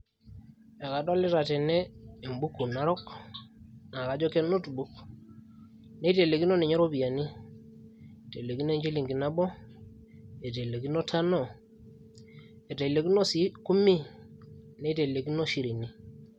Ekadolita tene embuku narok naa kajo ke notebook neitelekino ninye iropiyiani itelekino enchilingi nabo eitelekino tano eitelekino sii kumi neitelekino shirini.